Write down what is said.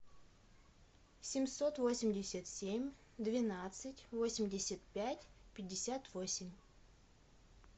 семьсот восемьдесят семь двенадцать восемьдесят пять пятьдесят восемь